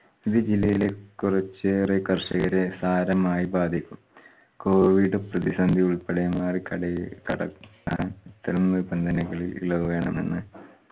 ഇത് ജില്ലയിലെ കുറച്ചേറെ കർഷകരെ സാരമായി ബാധിക്കും. covid പ്രതിസന്തി ഉൾപ്പെടെ ക്കാൻ ഇത്തരം നിബന്ധനകളിൽ ഇളവ് വേണമെന്ന്